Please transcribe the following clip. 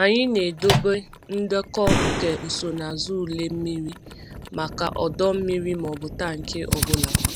Anyị na-edobe ndekọ nke nsonaazụ ule mmiri maka ọdọ mmiri maọbụ tank ọ bụla.